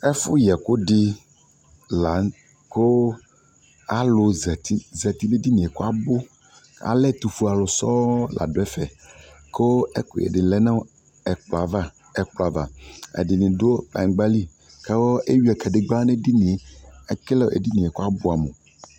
ɛƒʋ yɛkʋ di lantɛ kʋ alʋ zati nʋɛdiniɛ kʋ abʋ, alɛ ɛtʋfʋɛ alʋ sɔɔ la dʋ ɛvɛ, kʋ ɛkʋyɛ di lɛ nʋɛkplɔ aɣa, ɛdini dʋ kplayingba li kʋ kʋ ɛwia kadigba nʋ ɛdiniɛ kʋ ɛdiniɛ abʋɛ amʋ